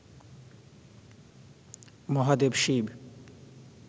Mahadev Shiva